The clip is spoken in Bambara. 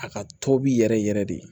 A ka tobi yɛrɛ yɛrɛ de